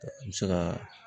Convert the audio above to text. An be se ka